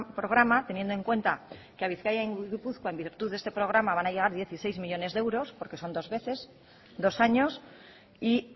programa teniendo en cuenta que a bizkaia y gipuzkoa en virtud de este programa van a llegar dieciséis millónes de euros porque son dos veces dos años y